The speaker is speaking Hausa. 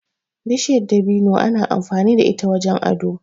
Bishiyar dabino ana amfani da ita wajen ado.